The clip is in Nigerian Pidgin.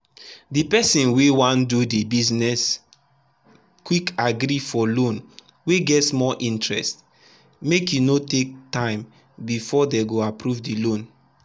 the person wey wan do the businessquick agree for loan wey get small interest make e no take time before dey go approve the loan.